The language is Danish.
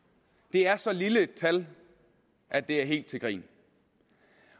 er så lille et tal at det er helt til grin